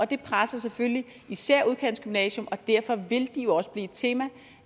det presser selvfølgelig især udkantsgymnasier og derfor vil de også blive et tema